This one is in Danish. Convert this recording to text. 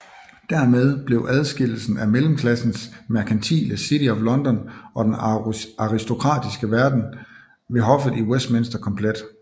Dermed blev adskillelsen af mellemklassens merkantile City of London og den aristokratisk verden ved hoffet i Westminster komplet